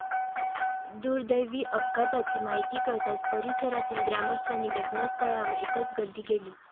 दुर्दैवी अपघाताची माहिती कळताच परिसरातील ग्रामस्थांनी घटनास्थळावर एकच गर्दी केली.